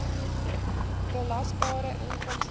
belasbare inkomste